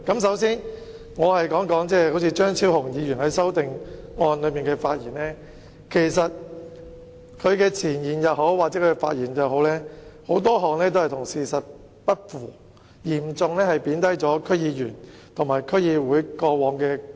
首先，我想談談張超雄議員就修正案作出的發言，他在前言或發言中提出的言論很多都與事實不符，嚴重貶低區議員和區議會過往作出的貢獻。